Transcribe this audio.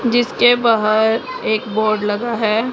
जिसके बाहर एक बोर्ड लगा है।